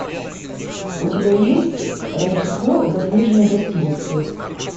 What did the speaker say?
у тебя есть рождество в заснеженной гостинице